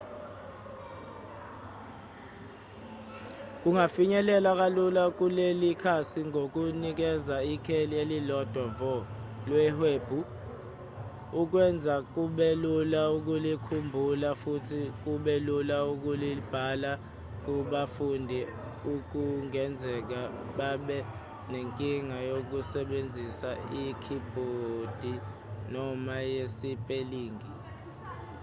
kungafinyelelwa kalula kuleli khasi ngokunikeza ikheli elilodwa vo lewebhu okwenza kube lula ukulikhumbula futhi kube lula nokulibhala kubafundi okungenzeka babe nenkinga yokusebenzisa ikhibhodi noma yesipelingi